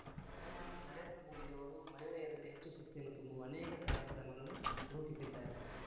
ಪ್ರಧಾನಿ ನರೇಂದ್ರ ಮೋದಿಯವರು ಮಹಿಳೆಯರಲ್ಲಿ ಹೆಚ್ಚು ಶಕ್ತಿಯನ್ನು ತುಂಬುವ ಅನೇಕ ಕಾರ್ಯಕ್ರಮಗಳನ್ನು ರೂಪಿಸಿದ್ದಾರೆ